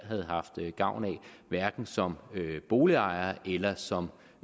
havde haft gavn af hverken som boligejer eller som